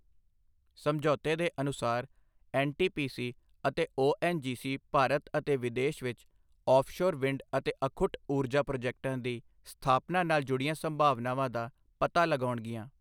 ਸਮਝੌਤੇ ਦੇ ਅਨੁਸਾਰ, ਐੱਨਟੀਪੀਸੀ ਅਤੇ ਓਐੱਨਜੀਸੀ ਭਾਰਤ ਅਤੇ ਵਿਦੇਸ਼ ਵਿੱਚ ਔਫਸ਼ੋਰ ਵਿੰਡ ਅਤੇ ਅਖੁੱਟ ਊਰਜਾ ਪ੍ਰੋਜੈਕਟਾਂ ਦੀ ਸਥਾਪਨਾ ਨਾਲ ਜੁੜੀਆਂ ਸੰਭਾਵਨਾਵਾਂ ਦਾ ਪਤਾ ਲਗਾਉਣਗੀਆਂ।